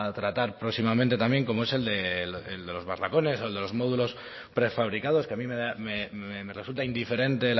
tratar próximamente también como es el de los barracones o en de los módulos prefabricados que a mí me resulta indiferente